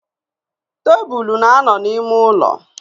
Tabulu na-ano n'ime ulo.